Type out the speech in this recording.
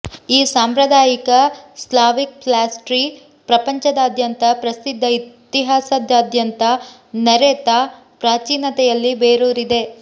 ಈ ಸಾಂಪ್ರದಾಯಿಕ Slavic pastry ಪ್ರಪಂಚದಾದ್ಯಂತ ಪ್ರಸಿದ್ಧ ಇತಿಹಾಸದಾದ್ಯಂತ ನರೆತ ಪ್ರಾಚೀನತೆಯಲ್ಲಿ ಬೇರೂರಿದೆ